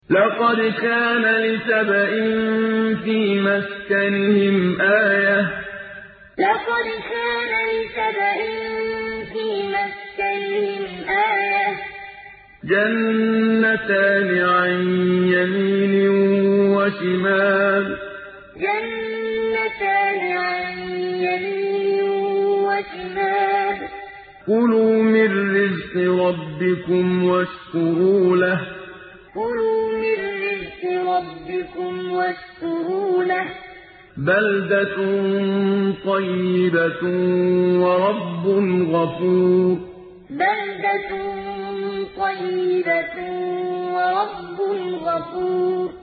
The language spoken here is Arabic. لَقَدْ كَانَ لِسَبَإٍ فِي مَسْكَنِهِمْ آيَةٌ ۖ جَنَّتَانِ عَن يَمِينٍ وَشِمَالٍ ۖ كُلُوا مِن رِّزْقِ رَبِّكُمْ وَاشْكُرُوا لَهُ ۚ بَلْدَةٌ طَيِّبَةٌ وَرَبٌّ غَفُورٌ لَقَدْ كَانَ لِسَبَإٍ فِي مَسْكَنِهِمْ آيَةٌ ۖ جَنَّتَانِ عَن يَمِينٍ وَشِمَالٍ ۖ كُلُوا مِن رِّزْقِ رَبِّكُمْ وَاشْكُرُوا لَهُ ۚ بَلْدَةٌ طَيِّبَةٌ وَرَبٌّ غَفُورٌ